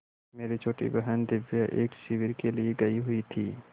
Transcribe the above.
मेरी छोटी बहन दिव्या एक शिविर के लिए गयी हुई थी